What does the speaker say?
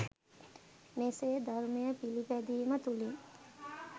මෙසේ ධර්මය පිළිපැදීම තුළින්